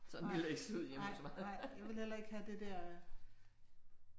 Nej, nej, nej jeg ville heller ikke have det der